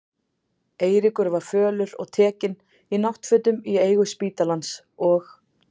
Eiríkur var fölur og tekinn, í náttfötum í eigu spítalans, og